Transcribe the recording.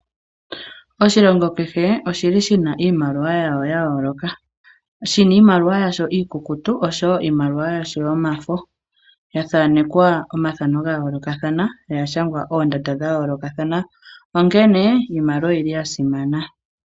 Oshilongo kehe oshi li shina iimaliwa yawo ya yooloka, shina iimaliwa yasho iikukutu oshowo iimaliwa yasho yomafo, ya thaanekwa omathano ga yoolokathana noya shangwa oondanda dha yoolokathana, onkene iimaliwa oyili ya simana.